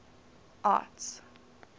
arts